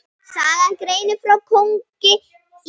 Sagan greinir frá konungi í